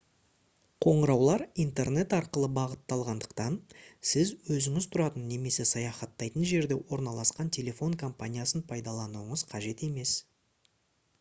қоңыраулар интернет арқылы бағытталатындықтан сіз өзіңіз тұратын немесе саяхаттайтын жерде орналасқан телефон компаниясын пайдалануыңыз қажет емес